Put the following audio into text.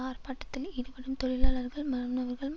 ஆர்ப்பாட்டத்தில் ஈடுபடும் தொழிலாளர்கள் மாணவர்கள்ம்